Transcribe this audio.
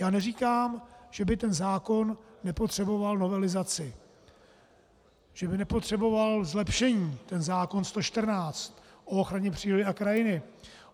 Já neříkám, že by ten zákon nepotřeboval novelizaci, že by nepotřeboval zlepšení ten zákon 114 o ochraně přírody a krajiny.